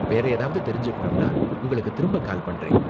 வேற ஏதாவது தெரிஞ்சுக்கணும்னா உங்களுக்கு திரும்ப கால் பண்றேன்.